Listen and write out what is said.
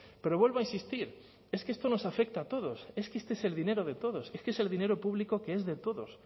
pero vuelvo a insistir es que esto nos afecta a todos es que este es el dinero de todos es que es el dinero público que es de todos